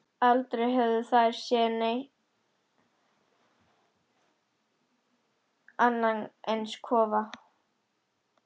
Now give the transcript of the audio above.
Aldrei höfðu þær séð annan eins kofa.